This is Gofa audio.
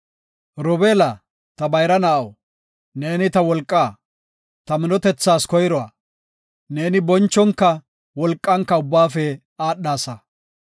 “Robeela, ta bayra na7aw, neeni ta wolqaa; ta minotethas koyruwa; neeni bonchonka wolqanka ubbaafe aadhasa.